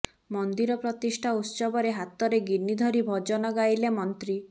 ମନ୍ଦିର ପ୍ରତିଷ୍ଠା ଉତ୍ସବରେ ହାତରେ ଗିନି ଧରି ଭଜନ ଗାଇଲେ ମନ୍ତ୍ରୀ